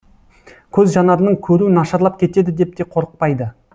көз жанарының көруі нашарлап кетеді деп те қорықпайды